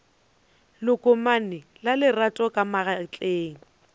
lekomane la lerato ka magetleng